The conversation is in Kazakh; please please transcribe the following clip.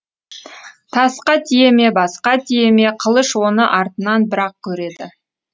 тасқа тие ме басқа тие ме қылыш оны артынан бірақ көреді